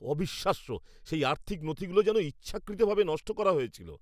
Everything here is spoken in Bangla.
অবিশ্বাস্য! সেই আর্থিক নথিগুলো যেন ইচ্ছাকৃত ভাবে নষ্ট করা হয়েছিল!